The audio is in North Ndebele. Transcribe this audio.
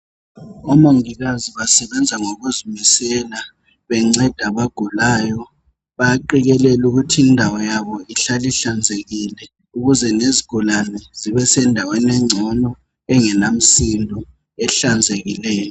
Omongikazi basebenza ngokuzimisela benceda abagulayo, bayaqikelela ukuthi indawo yabo ihlale ihlanzekile ukuze lezgulani zibe sendaweni engcono engelamsindo ehlanzekileyo.